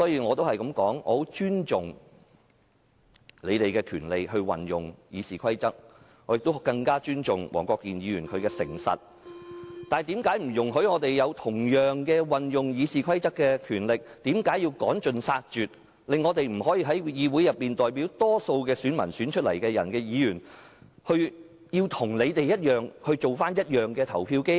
我很尊重他們運用《議事規則》的權利，我更尊重黃國健議員的誠實，但主席為何不准我們同樣享有運用《議事規則》的權利，為何要趕盡殺絕，令我們這些代表大多數選民的議員，要與他們一樣成為表決機器？